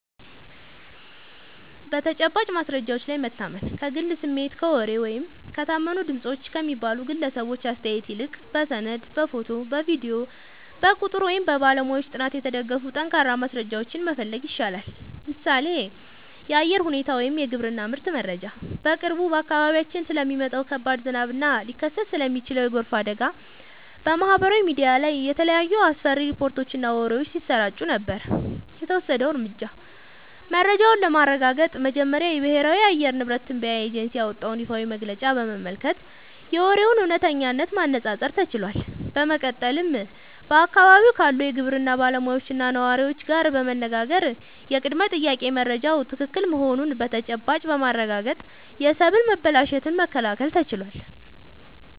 በተጨባጭ ማስረጃዎች ላይ መታመን፦ ከግል ስሜት፣ ከወሬ ወይም "የታመኑ ድምፆች" ከሚባሉ ግለሰቦች አስተያየት ይልቅ፣ በሰነድ፣ በፎቶ፣ በቪዲዮ፣ በቁጥር ወይም በባለሙያዎች ጥናት የተደገፉ ጠንካራ ማስረጃዎችን መፈለግ ይሻላል። ምሳሌ (የአየር ሁኔታ ወይም የግብርና ምርት መረጃ)፦ በቅርቡ በአካባቢያችን ስለሚጣለው ከባድ ዝናብ እና ሊከሰት ስለሚችል የጎርፍ አደጋ በማህበራዊ ሚዲያ ላይ የተለያዩ አስፈሪ ሪፖርቶችና ወሬዎች ሲሰራጩ ነበር። የተወሰደው እርምጃ፦ መረጃውን ለማረጋገጥ መጀመሪያ የብሔራዊ የአየር ንብረት ትንበያ ኤጀንሲ ያወጣውን ይፋዊ መግለጫ በመመልከት የወሬውን እውነተኝነት ማነፃፀር ተችሏል። በመቀጠልም በአካባቢው ካሉ የግብርና ባለሙያዎችና ነዋሪዎች ጋር በመነጋገር የቅድመ-ጥንቃቄ መረጃው ትክክል መሆኑን በተጨባጭ በማረጋገጥ የሰብል መበላሸትን መከላከል ተችሏል።